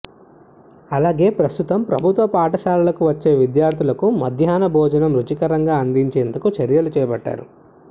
అలాగే ప్రస్తుతం ప్రభుత్వ పాఠశాలలకు వచ్చే విద్యార్థులకు మధ్యాహ్న భోజనాన్ని రుచికరంగా అందించేందుకు చర్యలు చేపట్టారు